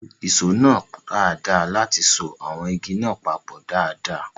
Lu ìṣó náà dáadáa láti so àwọn igi náà papọ̀ dáadáa